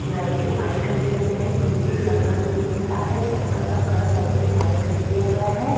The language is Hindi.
ब्लैक एंड व्हाइट कर दिया गया है। पीछे जंगल भी दिख रहा है। जंगल का कलर भी ब्लैक एंड व्हाइट कर दिया गया है।